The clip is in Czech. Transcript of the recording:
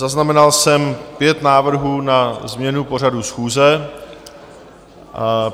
Zaznamenal jsem pět návrhů na změnu pořadu schůze.